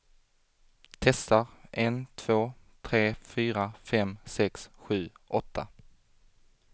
Testar en två tre fyra fem sex sju åtta.